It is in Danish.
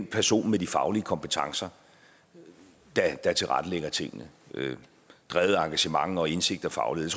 personen med de faglige kompetencer der tilrettelægger tingene drevet af engagement og indsigt og faglighed